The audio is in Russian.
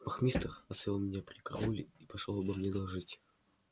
вахмистр оставил меня при карауле и пошёл обо мне доложить